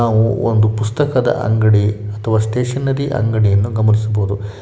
ನಾವು ಒಂದು ಪುಸ್ತಕದ ಅಂಗಡಿ ಅಥವಾ ಸ್ಟೇಷನರಿ ಅಂಗಡಿಯನ್ನು ಗಮನಿಸಬಹುದು.